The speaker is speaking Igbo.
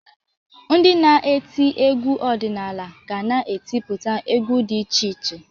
Ndị na-eti egwu ọdịnala ga na-etiputa egwu dị iche iche.